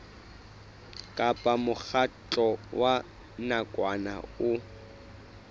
kapa mokgatlo wa nakwana o